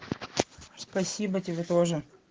спасибо тебе тоже